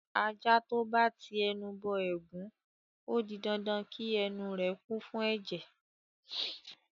Ajá tó bá ti ẹnu bọ ẹ̀gún, ó di dandan kí ẹnu rẹ̀ kún fún ẹ̀jẹ̀.